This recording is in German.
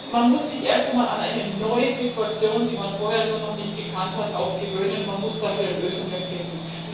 Man muss sich erst einmal an eine neue Situation, die man vorher so noch nicht gekannt hat, gewöhnen und dafür Lösungen finden.